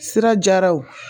Sira jaraw